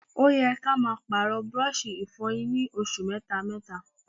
Ó yẹ kí a máa Pààrọ̀ burọ̀ṣì ìfọyín ní oṣù mẹ́ta mẹ́ta